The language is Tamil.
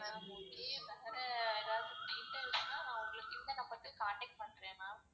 ma'am okay வேற ஏதாவது details னா உங்களுக்கு இந்த number க்கு contact பண்றன் ma'am